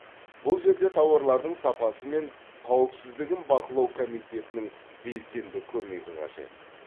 бұл жерде тауарлардың сапасы мен қауіпсіздігін бақылау комитетінің белсенді көмегі қажет